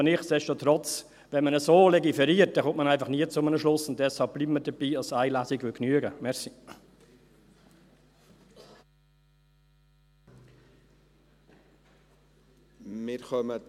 Aber nichtsdestotrotz: Wenn man so legiferiert, kommt man einfach nie zu einem Schluss, und deshalb bleiben wir dabei, dass eine Lesung genügen würde.